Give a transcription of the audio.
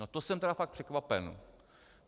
No to jsem tedy fakt překvapen.